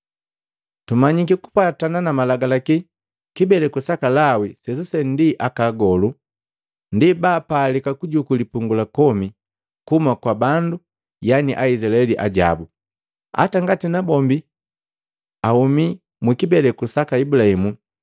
Tumanyi kupwatana na Malagalaki, kibeleku saka Lawi sesuse ndi akaagolu, ndi baapalika kujuku lipungu la komi kuhuma kwa bandu, yani Aizilaeli ajabu, hata ngati nabombi ahumi mu kibeleku saka Ibulahimu.